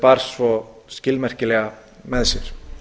bar svo skilmerkilega með sér